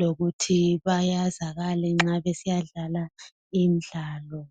lokuthi bayazakale nxa besiyadlala imidlalo.